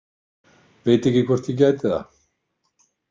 Veit ekki hvort ég gæti það.